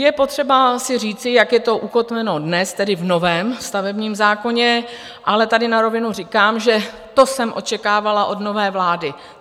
Je potřeba si říci, jak je to ukotveno dnes, tedy v novém stavebním zákoně, ale tady na rovinu říkám, že to jsem očekávala od nové vlády.